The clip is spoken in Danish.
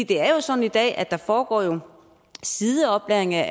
det er jo sådan i dag at der foregår sideoplæring af